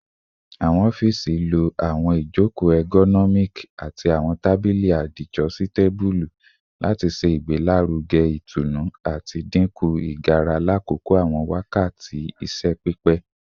Awọn ọfiisi lo awọn ijoko ergonomic ati awọn tabili adijositabulu lati ṣe igbelaruge itunu ati dinku igara lakoko awọn wakati iṣẹ pipẹ